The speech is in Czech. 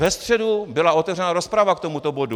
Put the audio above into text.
Ve středu byla otevřena rozprava k tomuto bodu.